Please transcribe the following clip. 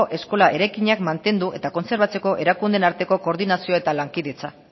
eskola eraikinak mantendu eta kontserbatzeko erakundeen arteko koordinazio eta lankidetza